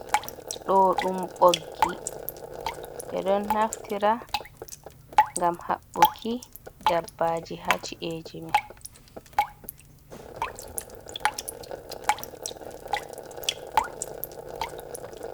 Do dum boggi be don naftira gam habbuki dabbaji haci’eji men.